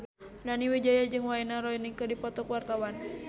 Nani Wijaya jeung Wayne Rooney keur dipoto ku wartawan